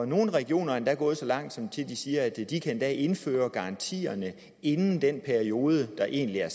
nogle regioner er endda gået så langt som til at sige at de kan indføre garantierne inden den periode der egentlig er